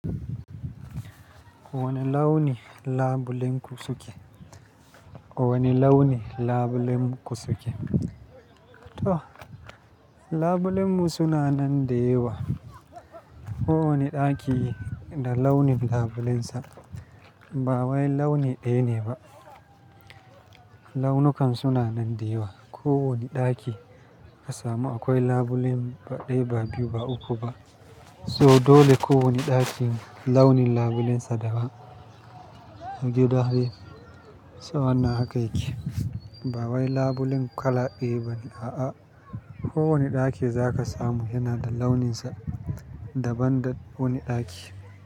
Wane launi labulen ku suke? Wane launi labulen ku suke? To labulenmu suna nan da yawa. Ko wane ɗaki da launin labulensa ba wai launi ɗaya ne ba. Launikansu suna nan da yawa. Ko wane ɗaki ka samu akwai labulen ba ɗaya, ba biyu, ba uku ba, so dole ko wane ɗaki launi labulensa daban. A gida dai, sau wannan haka yake. Ba wai labulen kala ɗaya bane, a'a. Ko wane ɗaki za ka samu yana da launinsa, daban da wani ɗaki.